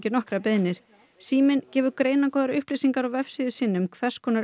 nokkrar beiðnir síminn gefur greinargóðar upplýsingar á vefsíðu sinni um hvers konar